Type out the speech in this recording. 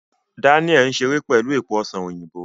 Daniel n ṣere pẹlu epo ọsan oyinbo